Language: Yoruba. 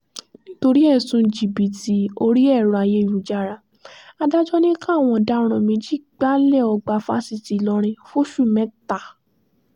nítorí ẹ̀sùn jìbìtì orí ẹ̀rọ ayélujára adájọ́ ni káwọn ọ̀daràn méjì gbalé ọgbà fásitì ìlọrin fóṣù mẹ́ta